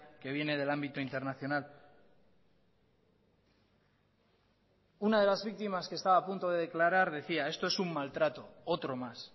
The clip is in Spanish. que viene del ámbito internacional una de las víctimas que estaba a punto de declarar decía esto es un maltrato otro más